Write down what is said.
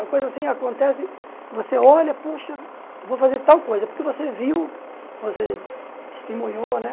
Uma coisa assim acontece, você olha, puxa, vou fazer tal coisa, porque você viu, você testemunhou, né?